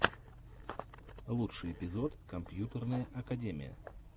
лучший эпизод компьютерная академия